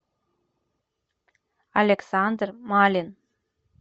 александр малин